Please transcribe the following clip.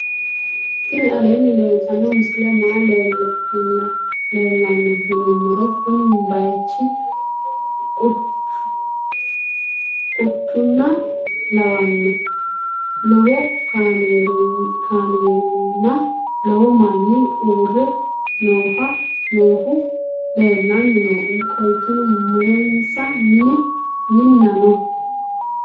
tini aleni leltano misileni maayi leelano yinnumoro. kuuni bayichu quchuna lawwano. loowo kaamerina loowo maani uure noohau leelani noo. qolteno mulensa miina noo.